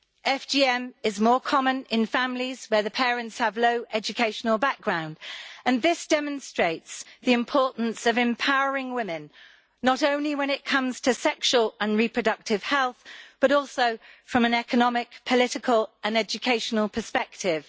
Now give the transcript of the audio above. FGM is more common in families where the parents' background includes a low level of education, and this demonstrates the importance of empowering women, not only when it comes to sexual and reproductive health but also from an economic, political and educational perspective.